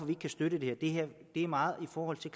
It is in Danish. ikke kan støtte det her er meget i forhold til